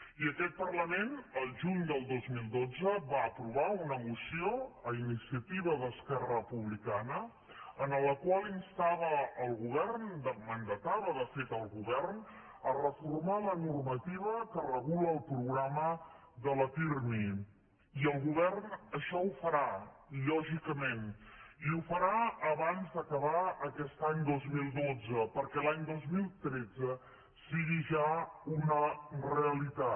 i aquest parlament al juny del dos mil dotze va aprovar una moció a iniciativa d’esquerra republicana en la qual instava el govern mandatava de fet el govern a reformar la normativa que regula el programa de la pirmi i el govern això ho farà lògicament i ho farà abans d’acabar aquest any dos mil dotze perquè a l’any dos mil tretze sigui ja una realitat